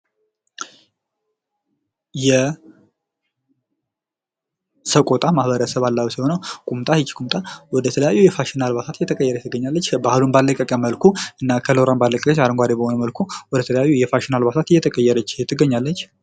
የሰቆጣ ማህበረሰብ አለባበስ ነው። እና ቁምጣ ይች ቁምጣ ወደተለያዩ የፋሽን አልባሳት እየተቀየረች ትገኛለች። ባህሉን ባለቀቀ መልኩ እና ከለሯን ባለቀቀች አረንጓዴ በሆነ መልኩ ወደተለያዩ የፋሽን አልባሳት እየተቀየረች ትገኛለች።